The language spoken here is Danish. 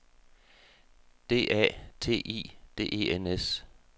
D A T I D E N S